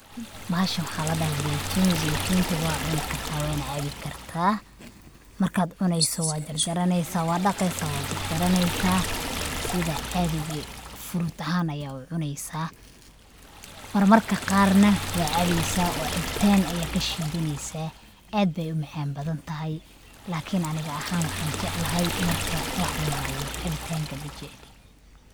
Bahashan waxaa ladhahaa zeitun. Zeitunta waa cuni kartaa waana cabbi kartaa. Marka aad cuneyso, waa jarjaraneysaa, waa daqeysa, waa jarjaraneysa sida caadiga fruit ahaan ayaad u cuneysaa. Marmarka qaarna waa cabeysaa, waa cabitaan ayaa kashiidaneysaa, aad bay u macaan badantahay, lakin aniga ahaan waxaan jeclahay marka ruuh cunaayo cabitaanka majecli.